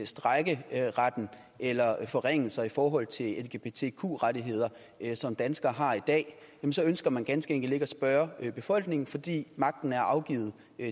strejkeretten eller forringelser i forhold til de lgbtq rettigheder som danskere har i dag så ønsker man ganske enkelt ikke at spørge befolkningen fordi magten er afgivet